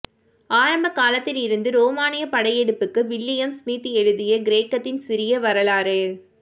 ஆரம்ப காலத்திலிருந்து ரோமானிய படையெடுப்புக்கு வில்லியம் ஸ்மித் எழுதிய கிரேக்கத்தின் சிறிய வரலாறு